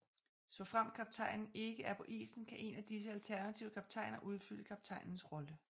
Såfremt kaptajnen ikke er på isen kan én af disse alternative kaptajner udfylde kaptajnens rolle